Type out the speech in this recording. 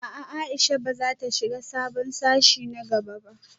A'a Aisha bazata shiga sabon sashe na gaba ba